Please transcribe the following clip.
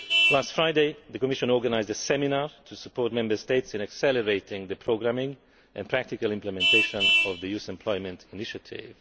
so. Last Friday, the Commission organised a seminar to support Member States in accelerating the programming and practical implementation of the Youth Employment Initiative.